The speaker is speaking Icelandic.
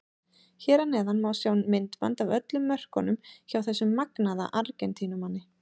Hér að neðan má sjá myndband af öllum mörkunum hjá þessum magnaða Argentínumanni.